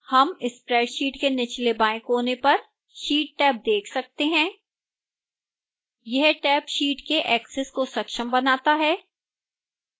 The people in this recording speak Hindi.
हम spreadsheet के निचले बाएं कोने पर sheetटैब देख सकते हैं यह टैब sheet के ऐक्सेस को संक्षम बनाता है